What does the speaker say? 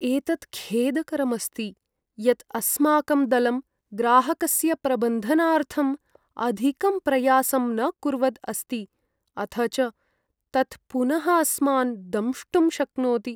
एतत् खेदकरम् अस्ति यत् अस्माकं दलं ग्राहकस्य प्रबन्धनार्थम् अधिकं प्रयासं न कुर्वद् अस्ति, अथ च तत् पुनः अस्मान् दंष्टुं शक्नोति।